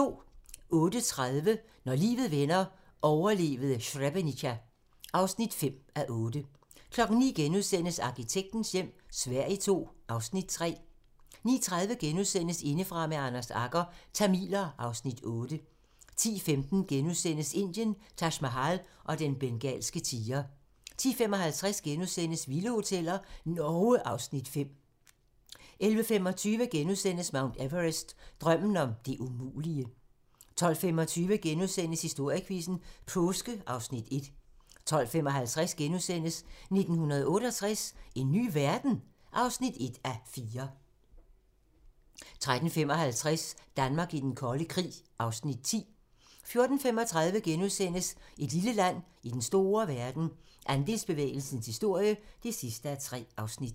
08:30: Når livet vender - overlevede Srebrenica (5:8) 09:00: Arkitektens hjem - Sverige II (Afs. 3)* 09:30: Indefra med Anders Agger - Tamiler (Afs. 8)* 10:15: Indien - Taj Mahal og den bengalske tiger * 10:55: Vilde hoteller - Norge (Afs. 5)* 11:25: Mount Everest - Drømmen om det umulige * 12:25: Historiequizzen: Påske (Afs. 1)* 12:55: 1968 - en ny verden? (1:4)* 13:55: Danmark i den kolde krig (Afs. 10) 14:35: Et lille land i den store verden - Andelsbevægelsens historie (3:3)*